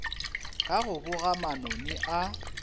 ka go boga manoni a